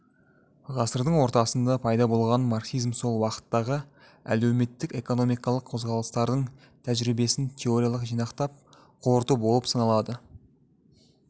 ғасырдың ортасында пайда болған марксизм сол уақыттағы әлеуметтік экономикалық қозғалыстардың тәжірибесін теориялық жинақтап қорыту болып саналады